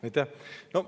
Aitäh!